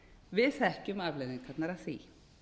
við þekkjum afleiðingarnar af því